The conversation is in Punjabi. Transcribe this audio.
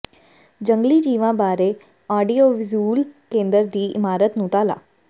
ਜੰਗਲੀ ਜੀਵਾਂ ਬਾਰੇ ਆਡੀਓ ਵਿਜ਼ੁੂਅਲ ਕੇਂਦਰ ਦੀ ਇਮਾਰਤ ਨੂੰ ਤਾਲਾ